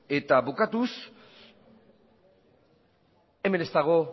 eta bukatuz hemen ez dago